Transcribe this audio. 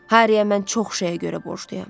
Harriyə mən çox şeyə görə borcluyam.